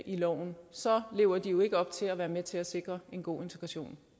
i loven så lever de jo ikke op til at være med til at sikre en god integration